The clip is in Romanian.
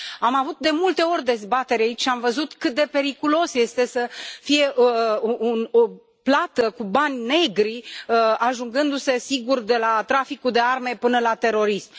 Am avut de multe ori dezbateri aici și am văzut cât de periculos este să fie o plată cu bani negri, ajungându se, sigur, de la traficul de arme, până la terorism.